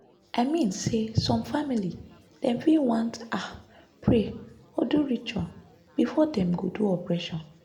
i mean say some family dem fit want ah pray or do ritual before dem go do operation